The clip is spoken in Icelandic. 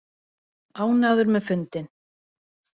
Ánægður með fundinn